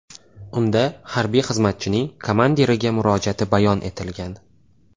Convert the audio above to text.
Unda harbiy xizmatchining komandiriga murojaati bayon etilgan.